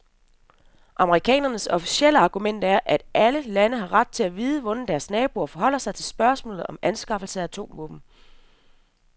Amerikanernes officielle argument er, at alle lande har ret til at vide, hvordan deres naboer forholder sig til spørgsmålet om anskaffelsen af atomvåben.